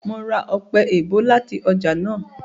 Mo ra ọpẹ-èèbó láti ọjà náà